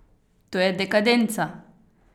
To je dekadenca!